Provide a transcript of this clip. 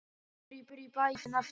Hvenær kemurðu í bæinn aftur?